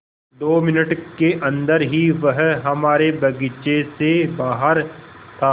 दो मिनट के अन्दर ही वह हमारे बगीचे से बाहर था